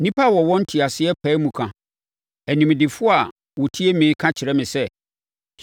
“Nnipa a wɔwɔ nteaseɛ pae mu ka, animdefoɔ a wɔtie me ka kyerɛ me sɛ,